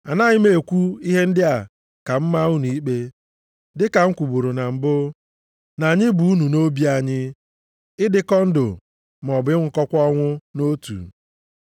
Anaghị m ekwu ihe ndị a ka m maa unu ikpe, dịka m kwuburu na mbụ, na anyị bu unu nʼobi anyị, ịdịkọ ndụ, maọbụ ịnwụkọkwa ọnwụ nʼotu.